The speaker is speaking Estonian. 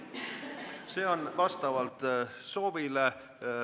See on vastavalt soovile.